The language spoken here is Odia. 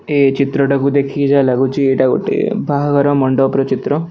ଏ ଚିତ୍ରଟାକୁ ଦେଖିକି ଯାହା ଲାଗୁଚି ଏଇଟା ଗୋଟେ ବହାଘର ମଣ୍ଡପର ଚିତ୍ର।